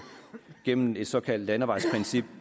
gennem et såkaldt landevejsprincip